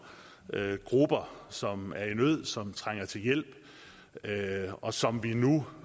grupper som er i nød og som trænger til hjælp og som vi nu